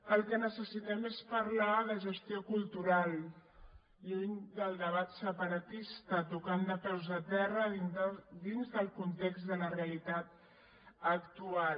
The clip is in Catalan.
el que necessitem és parlar de gestió cultural lluny del debat separatista tocant de peus a terra dins del context de la realitat actual